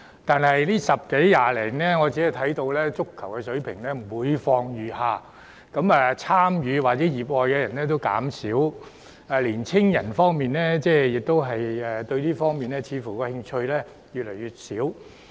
但近10多年來，我們的足球水平每況愈下，參與或熱愛足球運動的人數減少，青年人對這方面的興趣似乎越來越小。